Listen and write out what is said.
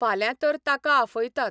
फाल्यां तर ताका आफयतात.